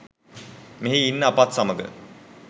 මෙහි ඉන්න අපත් සමග